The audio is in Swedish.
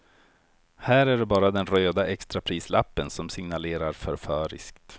Här är det bara den röda extraprislappen som signalerar förföriskt.